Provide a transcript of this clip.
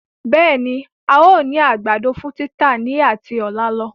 Bẹẹni, Áà ó ní àgbàdo fún títà ni ati ọ̀la lọ.